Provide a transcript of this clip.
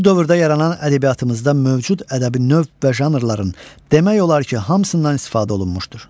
Bu dövrdə yaranan ədəbiyyatımızda mövcud ədəbi növ və janrların demək olar ki, hamısından istifadə olunmuşdur.